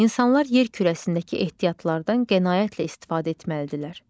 İnsanlar yer kürəsindəki ehtiyatlardan qənaətlə istifadə etməlidirlər.